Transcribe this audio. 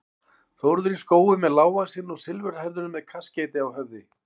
Þórður í Skógum er lágvaxinn og silfurhærður með kaskeiti á höfði.